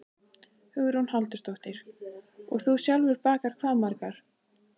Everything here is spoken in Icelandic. Hugrún Halldórsdóttir: Og þú sjálfur bakar hvað margar?